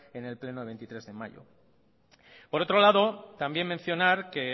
en el pleno de veintitrés de mayo por otro lado también mencionar que